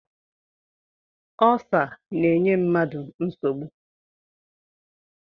Ulsa na-enye mmadụ nsogbu